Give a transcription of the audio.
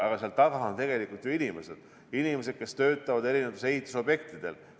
Aga seal taga on tegelikult ju inimesed, kes töötavad eri ehitusobjektidel.